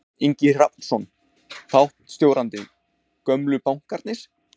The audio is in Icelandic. Björn Ingi Hrafnsson, þáttastjórnandi: Gömlu bankarnir?